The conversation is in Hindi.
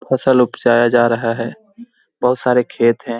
फसल उपजाया जा रहा है बहुत सारा खेत हैं।